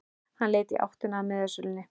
Hann leit í áttina að miðasölunni.